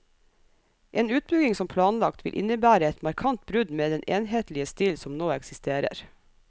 En utbygging som planlagt, vil innebære et markant brudd med den enhetlige stil som nå eksisterer.